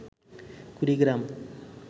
Kurigram